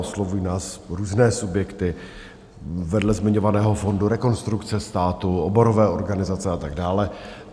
Oslovují nás různé subjekty, vedle zmiňovaného fondu Rekonstrukce státu, oborové organizace a tak dále.